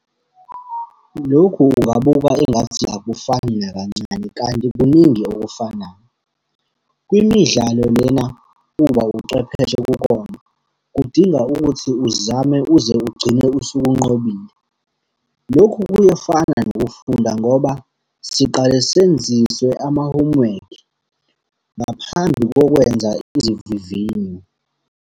Lokhu ungabuka engathi akufani nakancane kanti kuningi okufanayo. Kwimidlalo lena uba ucwepheshe kukona, kudinga ukuthi uzame uze ugcine usuwunqobile. Lokhu kuyefana nokufunda ngoba siqale senziswe ama-homework, ngaphambi kokwenza izivivinyo.